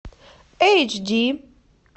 эйч ди